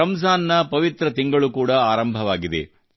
ರಂಜಾನ್ ನ ಪವಿತ್ರ ತಿಂಗಳು ಕೂಡಾ ಆರಂಭವಾಗಿದೆ